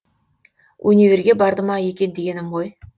универге барды ма екен дегенім ғой